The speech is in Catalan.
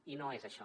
i no és això